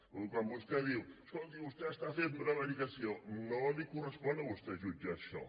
quan vostè diu escolti vostè està fent prevaricació no li correspon a vostè jutjar això